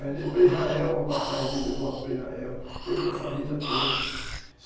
Ganhei para Israel uma passagem de ida e volta para Israel, eu com a família toda.